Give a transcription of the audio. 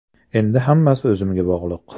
Endi hammasi o‘zimga bog‘liq.